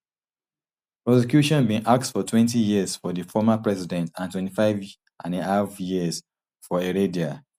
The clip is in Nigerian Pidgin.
prosecution bin ask for twenty years for di former president and twenty-five and half years for heredia